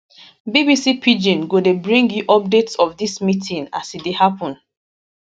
bbc pidgin go dey bring you updates of dis meeting as e dey happen